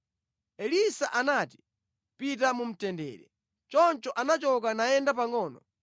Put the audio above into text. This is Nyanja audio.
Elisa anati, “Pita mu mtendere.” Choncho anachoka nayenda pangʼono.